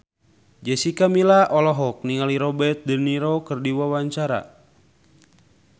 Jessica Milla olohok ningali Robert de Niro keur diwawancara